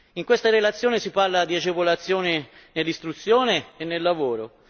In questa relazione si parla di agevolazione nell'istruzione e nel lavoro.